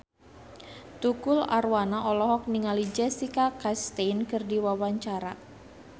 Tukul Arwana olohok ningali Jessica Chastain keur diwawancara